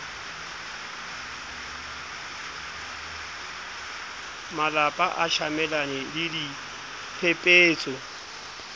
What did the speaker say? malapa a tjamelane le diphepetso